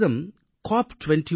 Bharatam C